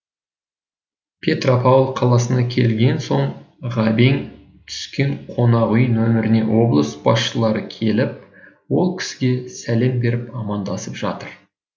петропавл қаласына келген соң ғабең түскен қонақүй номеріне облыс басшылары келіп ол кісіге сәлем беріп амандасып жатыр